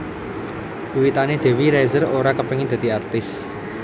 Wiwitané Dewi Rezer ora kepengin dadi artis